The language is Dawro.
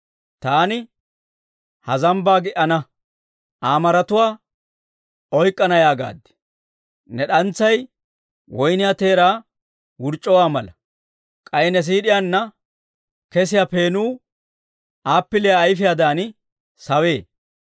Taani, Ha zambbaa gi"ana; Aa maratuwaa oyk'k'ana yaagaad. Ne d'antsay woyniyaa teeraa wurc'c'uwaa mala; k'ay ne siid'iyaanna kesiyaa peenuu appiliyaa ayifiyaadan sawee.